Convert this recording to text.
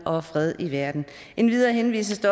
og fred i verden endvidere henvises